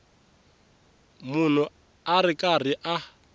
munhu a ri karhi a